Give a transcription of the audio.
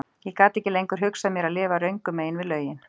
Ég gat ekki lengur hugsað mér að lifa röngu megin við lögin.